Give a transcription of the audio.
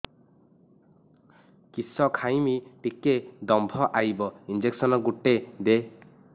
କିସ ଖାଇମି ଟିକେ ଦମ୍ଭ ଆଇବ ଇଞ୍ଜେକସନ ଗୁଟେ ଦେ